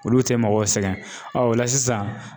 Olu tɛ mɔgɔw sɛgɛn ɔ o la sisan